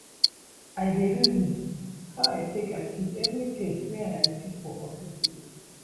I dey reason how I take achieve everytin wey I achieve for office today.